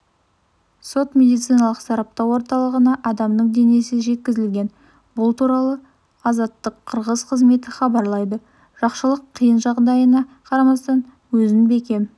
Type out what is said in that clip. сот-медициналық сараптау орталығына адамның денесі жеткізілген бұл туралыазаттыққырғыз қызметі хабарлайды жақшылық қиын жағдайына қарамастан өзін бекем